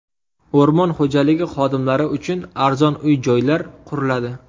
O‘rmon xo‘jaligi xodimlari uchun arzon uy-joylar quriladi.